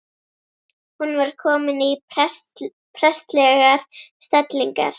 Hún var komin í prestslegar stellingar.